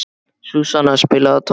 Súsanna, spilaðu tónlist.